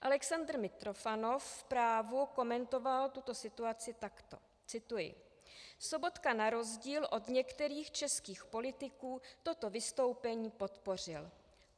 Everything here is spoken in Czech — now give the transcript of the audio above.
Alexandr Mitrofanov v Právu komentoval tuto situaci takto - cituji: "Sobotka na rozdíl od některých českých politiků toto vystoupení podpořil.